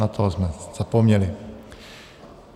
Na toho jsme zapomněli.